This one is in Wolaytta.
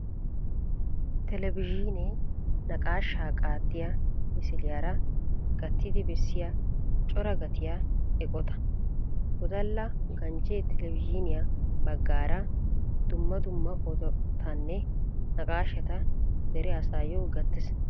Televizhiinee naqaashaa qaaxxiya misiliyaara gattidi bessiya coraa gattiya eqqota. Wodalla ganjjee televizhniyaa baggaara dumma dumma odotanne naqaashata dere asaayyo gattees.